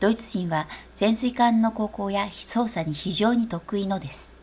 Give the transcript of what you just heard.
ドイツ人は潜水艦の航行や操作に非常に得意のです